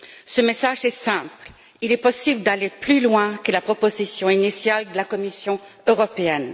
Ce message est simple il est possible d'aller plus loin que la proposition initiale de la Commission européenne.